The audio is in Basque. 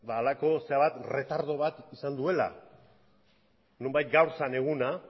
halako erretardo bat izan duela nonbait gaur zen eguna